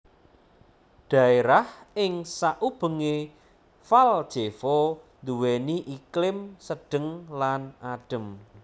Dhaérah ing saubengé Valjevo nduwèni iklim sedheng lan adhem